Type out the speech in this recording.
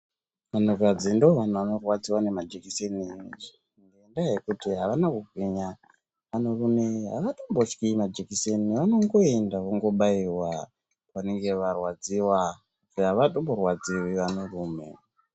Vanhukadzi ndovanhu vanorwadziwa nemajekiseni, ngendaa yekuti avana kugwinya. Anhurume avatombotyi majikiseni, vanongoenda vobaiwa vanenge varwadziwa. Avatomborwadziwi anhurume.